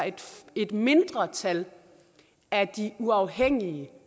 et mindretal af de uafhængige